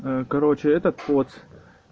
э короче этот поц